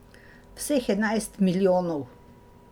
Vseh enajst milijonov.